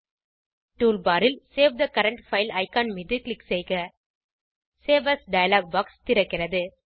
toolbar ல் save the current file icon மீது click செய்க சேவ் ஏஎஸ் டயலாக் பாக்ஸ் திறக்கிறது